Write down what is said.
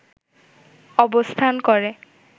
অবস্থান করে